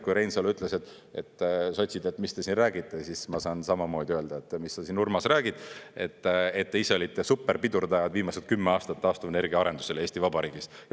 Kui Reinsalu ütles, et sotsid, mis te siin räägite, siis ma saan samamoodi öelda, et mis sa siin, Urmas, räägid, te ise olite superpidurdajad viimased 10 aastat taastuvenergia arendusele Eesti Vabariigis.